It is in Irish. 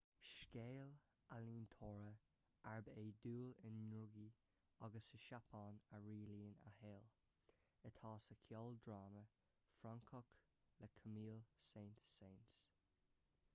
scéal ealaíontóra arb é dúil i ndrugaí agus sa tseapáin a rialaíonn a shaol atá sa cheoldráma francach le camille saint-saens